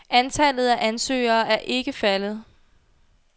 Antallet af ansøgere er ikke faldet.